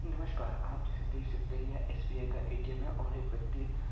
नमस्कार आप जैसे देख सकते हैं यह एस.बी.आई. का ए.टी.एम. है और एक व्यक्ति--